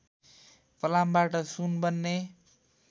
फलामबाट सुन बन्ने